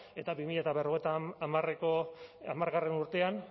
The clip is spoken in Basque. eta bi mila berrogeita hamargarrena urtean